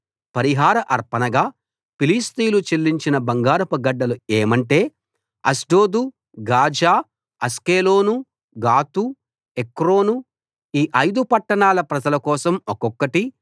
పరిహార అర్పణగా ఫిలిష్తీయులు చెల్లించిన బంగారపు గడ్డలు ఏమంటే అష్డోదు గాజా అష్కెలోను గాతు ఎక్రోనుఈ ఐదు పట్టణాల ప్రజల కోసం ఒక్కొక్కటి